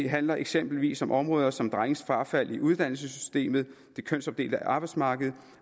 handler eksempelvis om områder som drenges frafald i uddannelsessystemet det kønsopdelte arbejdsmarked